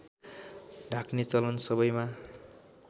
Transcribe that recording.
ढाक्ने चलन सबैमा